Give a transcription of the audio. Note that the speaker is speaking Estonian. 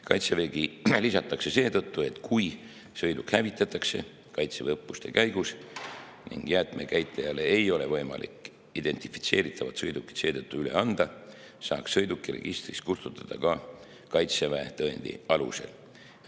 Kaitsevägi lisatakse seetõttu, et kui sõiduk hävitatakse Kaitseväe õppuste käigus ning jäätmekäitlejale ei ole võimalik identifitseeritavat sõidukit seetõttu üle anda, saaks sõiduki registrist kustutada ka Kaitseväe tõendi alusel.